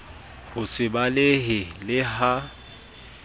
ho se balehe le ha